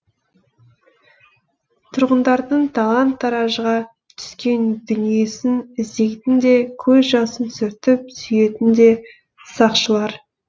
тұрғындардың талан таражға түскен дүниесін іздейтін де көз жасын сүртіп сүйейтін де сақшылар